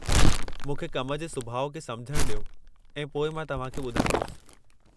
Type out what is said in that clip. मूंखे कम जे सुभाउ खे समुझणु डि॒यो ऐं पोइ मां तव्हांखे ॿुधाईंदुसि।